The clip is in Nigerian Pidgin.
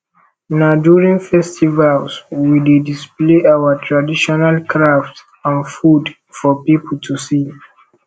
na during festivals we dey display our traditional crafts and food for people to see